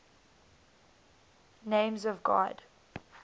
names of god